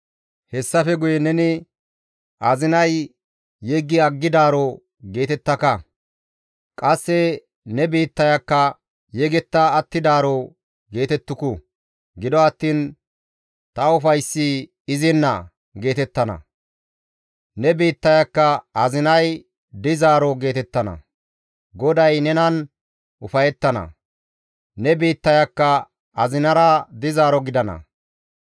Hayssafe guye neni, «Azinay yeggi aggidaaro» geetettaka. Qasse ne biittayakka, «Yegetta attidaaro» geetettuku. Gido attiin, «Ta ufayssi izinna» geetettana; ne biittayakka, «Azinay dizaaro» geetettana; GODAY nenan ufayettana; ne biittayakka azinara dizaaro gidana.